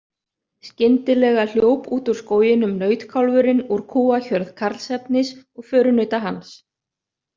Skyndilega hljóp út úr skóginum nautkálfurinn úr kúahjörð Karlsefnis og förunauta hans.